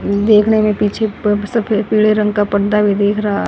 देखने में पीछे पर सफेद पीले रंग का पर्दा भी दिख रहा।